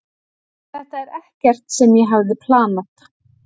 Þetta er ekkert sem ég hafði planað.